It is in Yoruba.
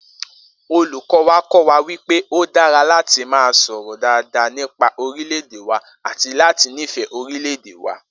Olùkó̩ wa kó̩ wa wí pé ó dára láti máa sò̩rò̩ dáa nípa orílè̩-èdè wa àti láti nífè̩é̩ orílè̩-èdè wa